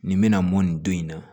Nin bɛna mɔn nin don in na